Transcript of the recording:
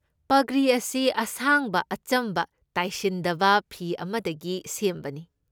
ꯄꯒ꯭ꯔꯤ ꯑꯁꯤ ꯑꯁꯥꯡꯕ ꯑꯆꯝꯕ ꯇꯥꯏꯁꯤꯟꯗꯕ ꯐꯤ ꯑꯃꯗꯒꯤ ꯁꯦꯝꯕꯅꯤ꯫